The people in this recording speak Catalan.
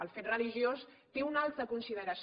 el fet religiós té una altra consideració